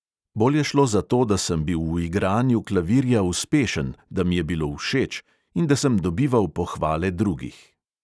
Bolj je šlo za to, da sem bil v igranju klavirja uspešen, da mi je bilo všeč in da sem dobival pohvale drugih.